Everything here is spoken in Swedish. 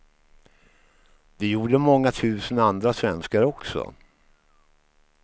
Det gjorde många tusen andra svenskar också.